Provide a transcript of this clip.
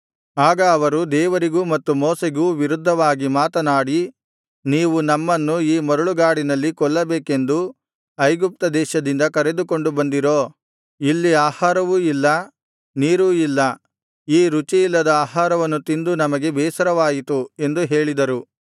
ಆಗ ಅವರು ದೇವರಿಗೂ ಮತ್ತು ಮೋಶೆಗೂ ವಿರುದ್ಧವಾಗಿ ಮಾತನಾಡಿ ನೀವು ನಮ್ಮನ್ನು ಈ ಮರಳುಗಾಡಿನಲ್ಲಿ ಕೊಲ್ಲಬೇಕೆಂದು ಐಗುಪ್ತ ದೇಶದಿಂದ ಕರೆದುಕೊಂಡು ಬಂದಿರೋ ಇಲ್ಲಿ ಆಹಾರವೂ ಇಲ್ಲ ನೀರೂ ಇಲ್ಲ ಈ ರುಚಿ ಇಲ್ಲದ ಆಹಾರವನ್ನು ತಿಂದು ನಮಗೆ ಬೇಸರವಾಯಿತು ಎಂದು ಹೇಳಿದರು